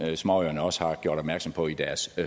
småøerne også har gjort opmærksom på i deres